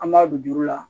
An b'a don juru la